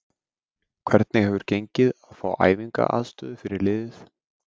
Hvernig hefur gengið að fá æfingaaðstöðu fyrir liðið?